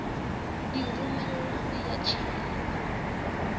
di romelwe ho ya tjhaelwa